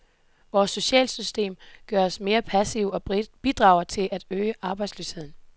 Vores socialsystem gør os mere passive og bidrager til at øge arbejdsløsheden.